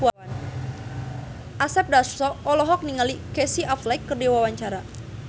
Asep Darso olohok ningali Casey Affleck keur diwawancara